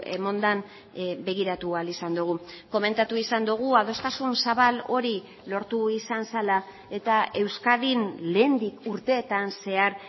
eman den begiratu ahal izan dugu komentatu izan dugu adostasun zabal hori lortu izan zela eta euskadin lehendik urteetan zehar